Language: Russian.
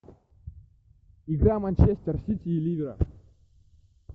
игра манчестер сити и ливера